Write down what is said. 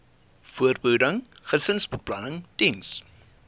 voorbehoeding gesinsbeplanning diens